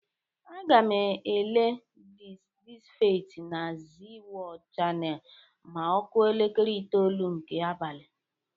Aga m ele "Dis is Feit' na Zee Wọld chanel ma ọ kụa elekere itolu nke abalị.